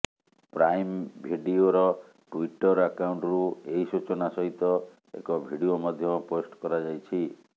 prime ଭିଡିଓର Twitter ଆକାଉଣ୍ଟରୁ ଏହି ସୂଚନା ସହିତ ଏକ ଭିଡିଓ ମଧ୍ୟ ପୋଷ୍ଟ କରାଯାଇଛି